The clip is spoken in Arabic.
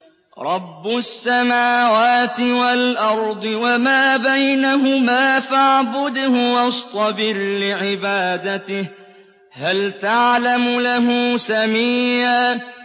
رَّبُّ السَّمَاوَاتِ وَالْأَرْضِ وَمَا بَيْنَهُمَا فَاعْبُدْهُ وَاصْطَبِرْ لِعِبَادَتِهِ ۚ هَلْ تَعْلَمُ لَهُ سَمِيًّا